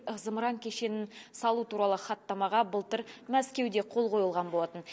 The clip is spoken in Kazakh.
зымыран кешенін салу туралы хаттамаға былтыр мәскеуде қол қойылған болатын